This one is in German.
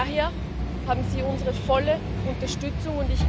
Daher haben Sie unsere volle Unterstützung.